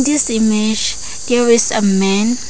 this image there is a man.